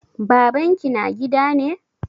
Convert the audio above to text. Baban ki na gida ne?